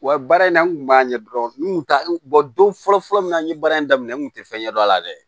Wa baara in na n kun b'a ɲɛ dɔn n kun t'a don fɔlɔ fɔlɔ min na an ye baara in daminɛ n kun tɛ fɛn ɲɛdɔn a la dɛ